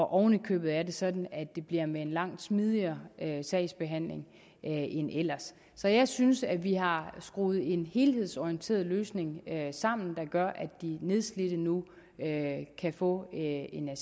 oven i købet er det sådan at det bliver med en langt smidigere sagsbehandling end ellers så jeg synes at vi har skruet en helhedsorienteret løsning sammen der gør at de nedslidte nu kan få en